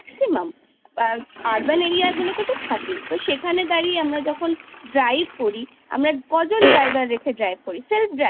urban area গুলোতে তো থাকেই। তো সেখানে দাঁড়িয়ে আমরা drive করি কজন driver রেখে drive করি?